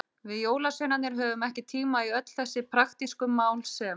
Við jólasveinarnir höfum ekki tíma í öll þessi praktísku mál sem.